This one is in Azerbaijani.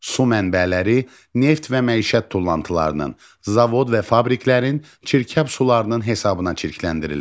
Su mənbələri neft və məişət tullantılarının, zavod və fabriklərin çirkab sularının hesabına çirkləndirilir.